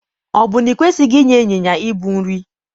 Ọ bụ na i kwesịghị inye ịnyịnya ibu nri?